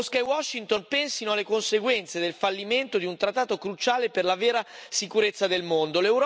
Mosca e Washington pensino alle conseguenze del fallimento di un trattato cruciale per la vera sicurezza del mondo.